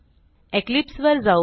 Eclipse वर जाऊ